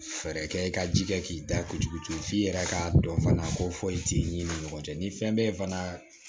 Fɛɛrɛ kɛ i ka ji kɛ k'i da kojugu f'i yɛrɛ ka dɔn fana ko foyi t'i ni ɲɔgɔn cɛ ni fɛn bɛ fana